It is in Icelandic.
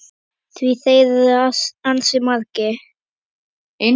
Því þær eru ansi margar.